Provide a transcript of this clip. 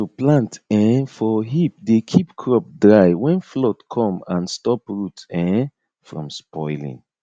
to plant um for heap dey keep crop dry when flood come and stop root um from spoiling